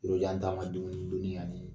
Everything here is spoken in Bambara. Yɔrɔjan taama dumuni doni yanni